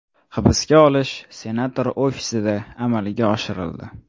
Hibsga olish senator ofisida amalga oshirildi.